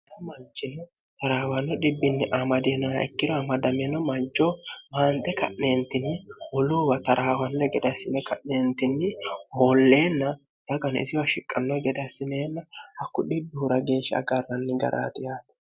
manchini taraawanno dhibbinni amadinoa ikkiro amadamino mancho maante ka'neentinni huluuwa tarahawanno gedassine ka'neentinni moolleenna dagani isiwa shiqqanno gedahssineenna hakku dhibbihura geeshsha agarranni garaatiyaate